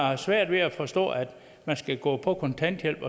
har svært ved at forstå at man kan gå på kontanthjælp